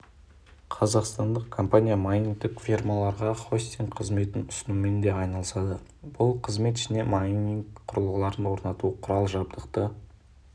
қазақстандық компания майнингтік фермаларға хостинг қызметін ұсынумен де айналысады бұл қызмет ішіне майнинг құрылғыларын орнату құрал-жабдықты